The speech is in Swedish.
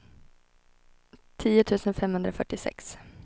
tio tusen femhundrafyrtiosex